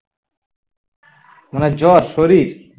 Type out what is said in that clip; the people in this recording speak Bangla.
না না জ্বর শরীর